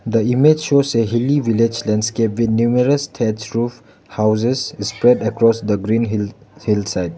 the image shows a hilly village landscape with numerous threads roof houses spread across the green hill hillside.